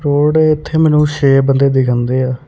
ਥੋੜੇ ਇੱਥੇ ਮੈਨੂੰ ਛੇ ਬੰਦੇ ਦਿਖਾਂਦੇ ਆ।